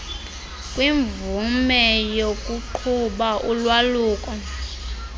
kwimvume yokuqhuba ulwaluko